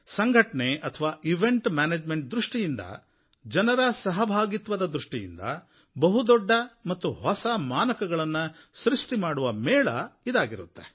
ಸಂಘಟನೆ ಅಥವಾ event management ದೃಷ್ಟಿಯಿಂದ ಜನರ ಸಹಭಾಗಿತ್ವದ ದೃಷ್ಟಿಯಿಂದ ಬಹುದೊಡ್ಡ ಮತ್ತು ಹೊಸ ಮಾನಕಗಳನ್ನು ಸೃಷ್ಟಿ ಮಾಡುವ ಮೇಳ ಇದಾಗಿರುತ್ತೆ